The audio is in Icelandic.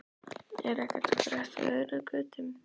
Er ekkert að frétta af öðru en götum?